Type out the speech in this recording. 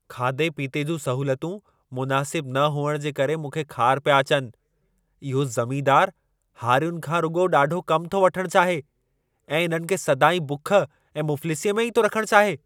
खाधे पीते जूं सहूलियतूं मुनासिबु न हुअण जे करे मूंखे ख़ार पिया अचनि। इहो ज़मीनदारु हारियुनि खां रुॻो ॾाढो कमु थो वठण चाहे ऐं इन्हनि खे सदाईं बुख ऐं मुफ़लिसीअ में ई थो रखण चाहे।